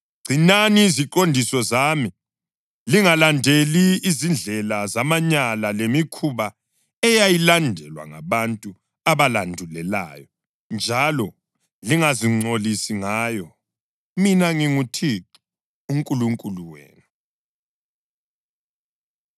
Gcinani iziqondiso zami, lingalandeli izindlela zamanyala lemikhuba eyayilandelwa ngabantu abalandulelayo, njalo lingazingcolisi ngayo. Mina nginguThixo uNkulunkulu wenu.’ ”